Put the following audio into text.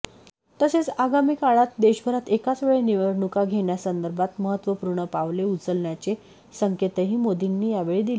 तसेच आगामी काळात देशभरात एकाचवेळी निवडणुका घेण्यासंदर्भात महत्त्वपूर्ण पावले उचलण्याचे संकेतही मोदींनी यावेळी दिले